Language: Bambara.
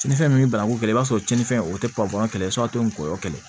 Ti ni fɛn min ye banaku kɛlɛ i b'a sɔrɔ cɛnninfɛn o tɛ papiye sɔrɔ a tɛ ngɔyɔ kɛlɛ